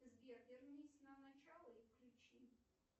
сбер вернись на начало и включи